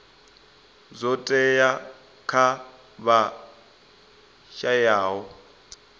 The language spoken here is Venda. zwo teaho kha vha shayaho